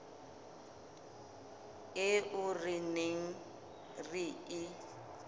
eo re neng re e